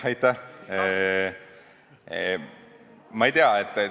Aitäh!